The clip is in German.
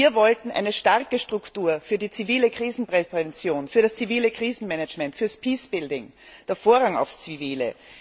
Wir wollten eine starke Struktur für die zivile Krisenprävention, für das zivile Krisenmanagement, fürs peace building den Vorrang aufs Zivile.